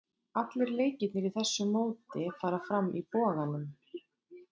Allir leikirnir í þessu móti fara fram í Boganum.